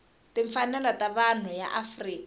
timfanelo ta vanhu ya afrika